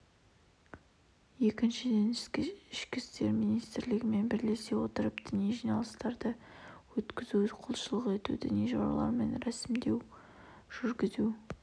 екіншіден ішкі істер министрлігімен бірлесе отырып діни жиналыстарды өткізу құлшылық ету діни жоралар мен рәсімдер жүргізу